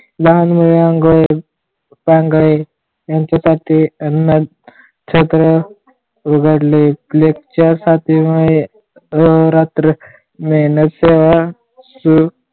लहान मुलं मुंगळे पांगळे यांच्यासाठी अन्न छत्र उघडले lecturship मुळे अहोरात्र मेहनत सेवा